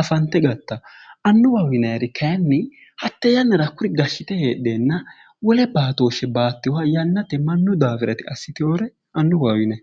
afanite gattawo annuwaho yinayir kayinni hatte yannara hakkuri gashite hedheena wole baatoshe batewoha yannate mannu daafira yite assitewore annuwaho yinay